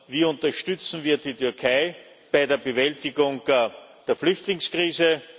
Wie unterstützen wir die Türkei bei der Bewältigung der Flüchtlingskrise?